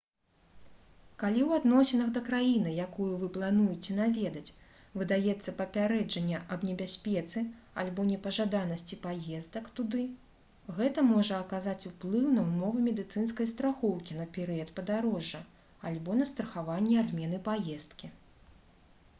калі ў адносінах да краіны якую вы плануеце наведаць выдаецца папярэджанне аб небяспецы альбо непажаданасці паездак туды гэта можа аказаць уплыў на ўмовы медыцынскай страхоўкі на перыяд падарожжа альбо на страхаванне адмены паездкі